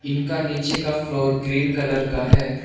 इनका नीचे का फ्लोर ग्रीन कलर का है।